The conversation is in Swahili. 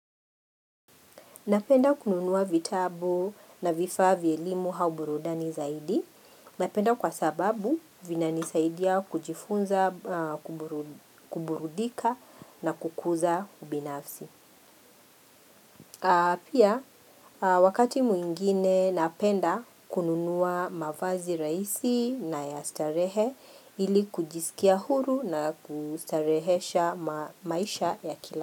Napenda kununua vitabu na vifaa vya elimu au burudani zaidi. Napenda kwa sababu vina nisaidia kujifunza, kuburudika na kukuza ubinafsi. Pia wakati mwingine napenda kununua mavazi raisi na ya starehe ili kujisikia huru na kustarehesha maisha ya kila.